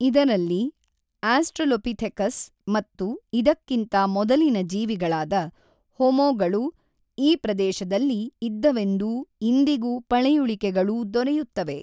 ಇದರಲ್ಲಿ ಆಸ್ಟೃಲೊಪಿಥೆಕಸ್ ಮತ್ತು ಇದಕ್ಕಿಂತ ಮೊದಲಿನ ಜೀವಿಗಳಾದ ಹೊಮೊ ಗಳು ಈ ಪ್ರದೇಶದಲ್ಲಿ ಇದ್ದವೆಂದೂ ಇಂದಿಗೂ ಪಳೆಯುಳಿಕೆಗಳೂ ದೊರೆಯುತ್ತವೆ.